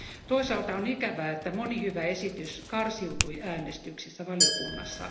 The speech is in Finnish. Toisaalta on ikävää, että moni hyvä esitys karsiutui äänestyksissä valiokunnassa.